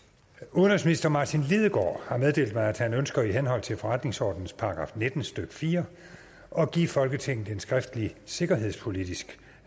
udenrigsministeren har har meddelt mig at han ønsker i henhold til forretningsordenens § nitten stykke fire at give folketinget en skriftlig sikkerhedspolitisk